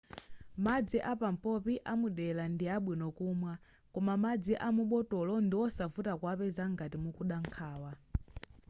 madzi apampopi amudera ndi abwino kumwa koma madzi a mubotolo ndiwosavuta kuwapeza ngati mukuda nkhawa